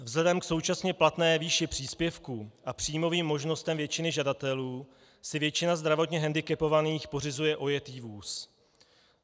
Vzhledem k současně platné výši příspěvků a příjmovým možnostem většiny žadatelů si většina zdravotně hendikepovaných pořizuje ojetý vůz.